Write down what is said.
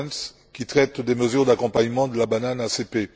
Goerens qui traite des mesures d'accompagnement de la banane ACP.